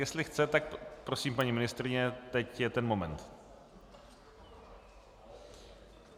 Jestli chce, tak prosím, paní ministryně, teď je ten moment.